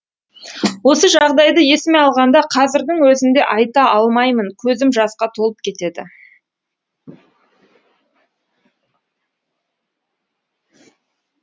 осы жағдайды есіме алғанда қазірдің өзінде айта алмаймын көзім жасқа толып кетеді